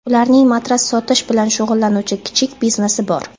Ularning matras sotish bilan shug‘ullanuvchi kichik biznesi bor.